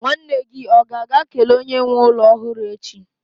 nwanne gi ga-aga kele onye nwe ulo ohuru echi?